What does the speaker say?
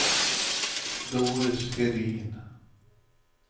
Doris Hedin